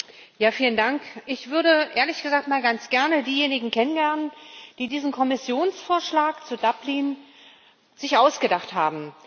Herr Präsident! Ich würde ehrlich gesagt mal ganz gerne diejenigen kennenlernen, die sich diesen Kommissionsvorschlag zu Dublin ausgedacht haben.